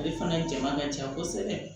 Ale fana jama ka ca kosɛbɛ